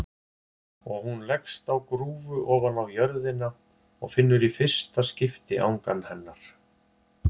Og hún leggst á grúfu ofaná jörðina og finnur í fyrsta skipti angan hennar.